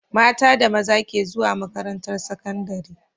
Mata da maza ke zuwa makaran tar sakandari